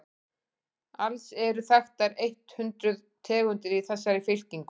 alls eru þekktar eitt hundruð tegundir í þessari fylkingu